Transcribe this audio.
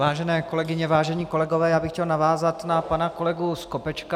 Vážené kolegyně, vážení kolegové, já bych chtěl navázat na pana kolegu Skopečka.